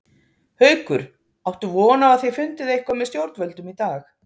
Haukur: Áttu von á að þið fundið eitthvað með stjórnvöldum í dag?